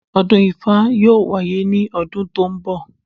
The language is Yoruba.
Ọdún ifá yóò wáyé ní ọdún tó ń bọ̀